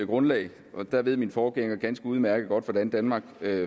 grundlag og der ved min forgænger ganske udmærket godt hvordan danmark